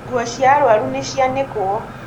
nguo cia arwaru nĩcianĩkwo